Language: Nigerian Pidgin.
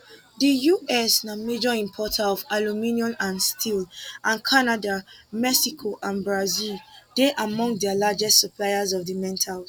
di us na major importer of aluminium and steel and canada mexico and brazil dey among dia largest suppliers of di metals